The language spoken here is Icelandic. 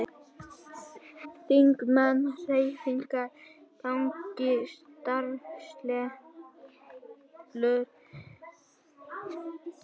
Þingmenn Hreyfingarinnar gagnrýna starfsreglur